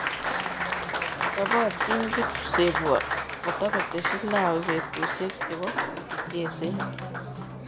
Chopatin kipsebwo kotakoteshi Lawi petushek chepo mucheset.